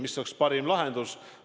Mis oleks parim lahendus?